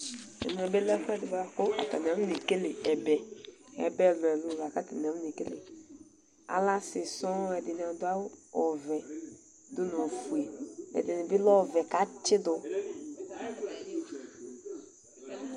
Ɛmɛ bɩ lɛ ɛfʋ ɛdɩ bʋakʋ atanɩ afo ne kele ɛbɛ Ɛbɛ ɛlʋ ɛlʋ lakʋ atanɩ afone kele Alɛ asɩ sɔŋ, kʋ ɛdɩnɩ adʋ awʋ ɔvɛ dʋ nʋ ofue Ɛdɩnɩ bɩ alɛ ɔvɛ kʋ atsɩdʋ